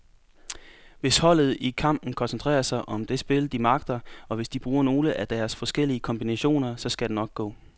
Hvis holdet i kampen koncentrerer sig om det spil, de magter, og hvis de bruger nogle af deres forskellige kombinationer, så skal det nok gå.